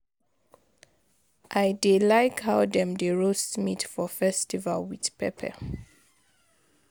I dey like how dem dey roast meat for festival with pepper